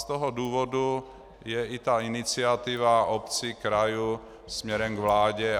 Z toho důvodu je i ta iniciativa obcí, krajů směrem k vládě.